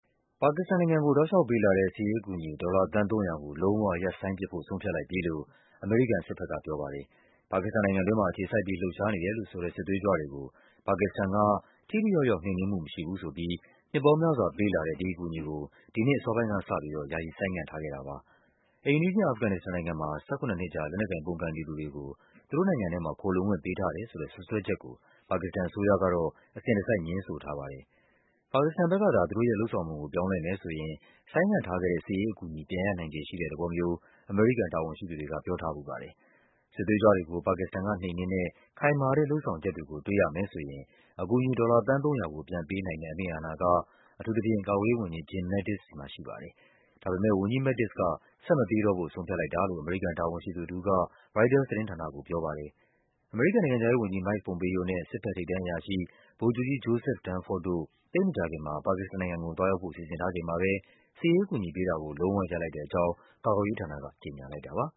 ပါကစ္စတန်နိုင်ငံကို ပေးလာတဲ့ စစ်ရေးအကူအညီ ဒေါ်လာ သန်း ၃၀၀ ကို လုံးဝ ရပ်ဆိုင်းပစ်ဖို့ ဆုံးဖြတ်လိုက်ပြီလို့ အမေရိကန် စစ်ဘက်က ဆုံးဖြတ်လိုက်ပါပြီ။ ပါကစ္စတန်နိုင်ငံတွင်းမှာ အခြေစိုက်ပြီး လှုပ်ရှားနေတယ်လို့ဆိုတဲ့ စစ်သွေးကြွတွေကို ပါကစ္စတန်က ထိထိရောက်ရောက် နှိမ်နင်းမှု မရှိဘူးဆိုပြီး နှစ်ပေါင်းများစွာပေးလာတဲ့ ဒီအကူအညီကို ဒီနှစ်အစောပိုင်းကစပြီး ဆိုင်းငံ့ထားတာပါ။ အိမ်နီးချင်း အာဖဂန်နစ္စတန်နိုင်ငံမှာ ၁၇ နှစ်ကြာ လက်နက်ကိုင်ပုန်ကန်နေသူတွေကို သူတို့နိုင်ငံထဲမှာ ခိုလှုံခွင့်ပေးထားတယ် ဆိုတဲ့ စွပ်စွဲချက်ကို ပါကစ္စတန်အစိုးရကတော့ အစဉ်တစိုက် ငြင်းဆိုထားပါတယ်။ ပါကစ္စတန်ဘက်ကသာ သူတို့ရဲ့ လုပ်ဆောင်ပုံကို ပြောင်းလဲမယ်ဆိုရင် ဆိုင်းငံ့ထားခဲ့တဲ့ စစ်ရေးအကူအညီ ပြန်ရနိုင်ခြေရှိတဲ့ သဘောမျိုး အမေရိကန် တာဝန်ရှိသူတွေက ပြောထားဖူးပါတယ်။ စစ်သွေးကြွတွေကို ပါကစ္စတန်ကနှိမ်နင်းတဲ့ ခိုင်မာတဲ့လုပ်ဆောင်ချက်တွေကို တွေ့ရမယ်ဆိုရင် အကူအညီ ဒေါ်လာ သန်း ၃၀၀ ကို ပြန်ပေးနိုင်တဲ့ အမိန့်အာဏာက ကာကွယ်ရေးဝန်ကြီး Jim Mattis ဆီမှာရှိပါတယ်။ ဒါပေမဲ့ ဝန်ကြီး Mattis က ဆက်မပေး တော့ဖို့ ဆုံးဖြတ်လိုက်တာလို့ အမေရိကန် တာဝန်ရှိသူတဦးက ရိုက်တာသတင်းဌာနကို ပြောပါတယ်။ အမေရိကန်နိုင်ငံခြားရေးုဝန်ကြီး Mike Pompeo နဲ့ စစ်ဘက် ထိပ်တန်းအရာရှိ ဗိုလ်ချုပ်ကြီး Joseph Dunford တို့ သိပ်မကြာခင် မှာ ပါကစ္စတန်နိုင်ငံကို သွားရောက်ဖို့ စီစဉ်ထားချိန်မှာပဲ စစ်ရေးအကူအညီပေးတာကို လုံးဝရပ်လိုက်တဲ့အကြောင်း ကာကွယ်ရေး ဌာနက ကြေညာလိုက်တာပါ